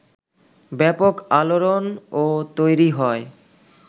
ব্যাপক আলোড়নও তৈরি হয়